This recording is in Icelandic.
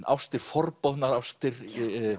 ástir forboðnar ástir